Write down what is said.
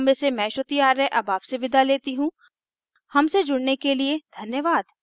I I T Bombay से मैं श्रुति आर्य अब आपसे विदा लेती हूँ हमसे जुड़ने के लिए धन्यवाद